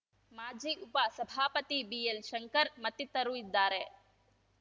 ಮಾಜಿ ಉಪ ಸಭಾಪತಿ ಬಿಎಲ್‌ಶಂಕರ್‌ ಮತ್ತಿತರು ಇದ್ದಾರೆ